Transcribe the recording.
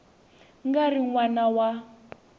nga ri n wana wa